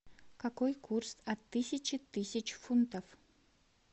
какой курс от тысячи тысяч фунтов